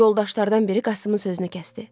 Yoldaşlardan biri Qasımın sözünü kəsdi.